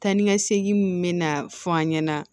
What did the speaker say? Tan ni ka segin min bɛ na fɔ an ɲɛna